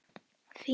Þín Eva.